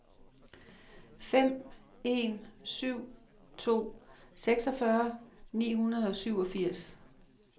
fem en syv to seksogfyrre ni hundrede og syvogfirs